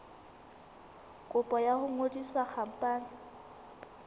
kopo ya ho ngodisa khampani